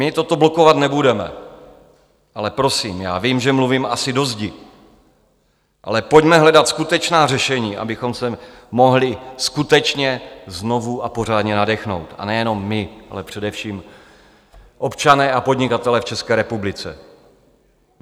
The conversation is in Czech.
My toto blokovat nebudeme, ale prosím, já vím, že mluvím asi do zdi, ale pojďme hledat skutečná řešení, abychom se mohli skutečně znovu a pořádně nadechnout, a nejenom my, ale především občané a podnikatelé v České republice.